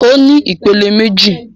Ó ní ìpele méjì.